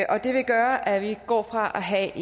og det vil gøre at vi går fra at have